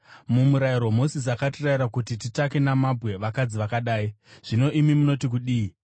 MuMurayiro Mozisi akatirayira kuti titake namabwe vakadzi vakadai. Zvino imi munoti kudii?”